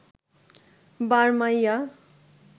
Barmaiya